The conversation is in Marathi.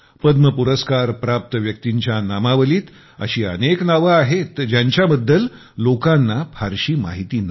पद्म पुरस्कार प्राप्त व्यक्तींच्या नामावलीत अशी अनेक नावे आहेत ज्यांच्या बद्दल लोकांना फारशी माहिती नाही